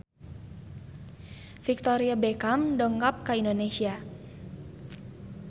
Victoria Beckham dongkap ka Indonesia